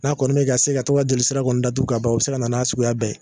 N'a kɔni mɛ ka se ka to ka jeli sira kɔni datugu ka ban, o bi se ka na n'a suguya bɛɛ ye